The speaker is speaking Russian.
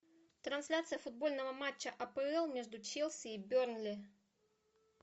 трансляция футбольного матча апл между челси и бернли